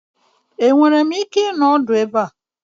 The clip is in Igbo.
Enwere m ike ịnọ ọdụ ebe a?